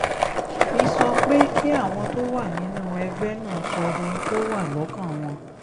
fi sọ pé kí àwọn tó wà nínú ẹgbẹ́ náà sọ ohun tó wà lọ́kàn wọn